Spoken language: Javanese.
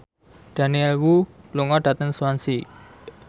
Daniel Wu lunga dhateng Swansea